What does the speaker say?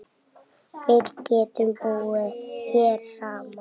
Við getum búið hérna saman.